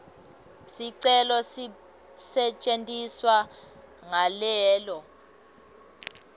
sicelo sisetjentwa ngalelo